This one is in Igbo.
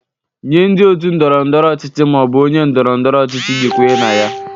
Nye ndị otu ndọrọ ndọrọ ọchịchị ma ọ bụ onye ndoro-ndoro ochichi ị ga-ekwenye na ya.